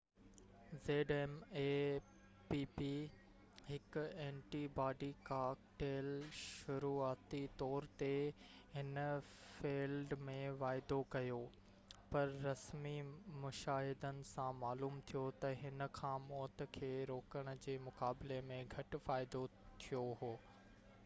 هڪ antibody cocktail zmapp شروعاتي طور تي هن فيلڊ ۾ واعدو ڪيو پر رسمي مشاهدن سان معلوم ٿيو تہ هن کان موت کي روڪڻ جي مقابلي ۾ گهٽ فائدو ٿيو هو